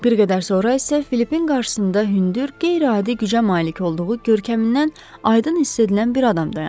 Bir qədər sonra isə Filipin qarşısında hündür, qeyri-adi gücə malik olduğu görkəmindən aydın hiss edilən bir adam dayandı.